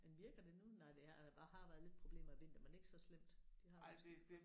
Men virker det nu? Nej det har der har været lidt problemer i vinter men ikke så slemt det har det måske